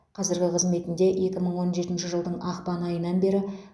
қазіргі қызметінде екі мың он жетінші жылдың ақпан айынан бері